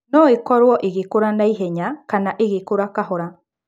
No ĩkorũo igĩkũra na ihenya kana igĩkũra kahora.